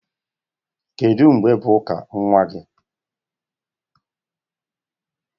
Kedụ mgbe bụ ụka nwa gị?